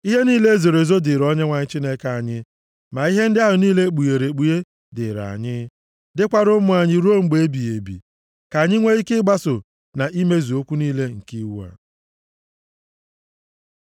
Ihe niile e zoro ezo dịrị Onyenwe anyị Chineke anyị, ma ihe ndị ahụ niile e kpughere ekpughe dịịrị anyị, dịkwara ụmụ anyị ruo mgbe ebighị ebi, ka anyị nwee ike ịgbaso na imezu okwu niile nke iwu a.